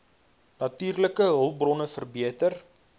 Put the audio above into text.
natuurlike hulpbronne verbeter